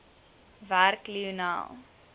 werk lionel